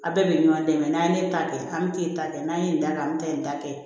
Aw bɛɛ bɛ ɲɔgɔn dɛmɛ n'an ye ne ta kɛ an bɛ taa ne ta kɛ n'an ye nin da kɛ an bɛ taa nin ta kɛ